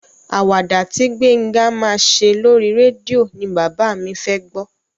Àwàdà tí Gbénga máa ṣe lóri rédíò ni bàbá mi fẹ́ gbọ́.